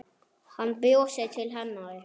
Hann brosir til hennar.